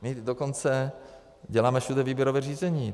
My dokonce děláme všude výběrové řízení.